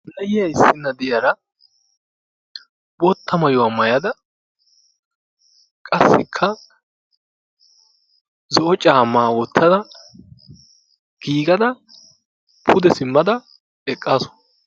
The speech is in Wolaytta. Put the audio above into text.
Nayiya issinna diyara bootta maayuwa maayada qassikka zo'o caammaa wottada giigada pude simmada eqqaasu.